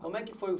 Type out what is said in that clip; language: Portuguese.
Como é que foi o?